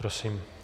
Prosím.